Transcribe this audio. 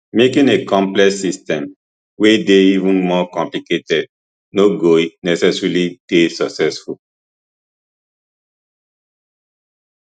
making a complex system wey dey even more complicated no go necessarily dey successful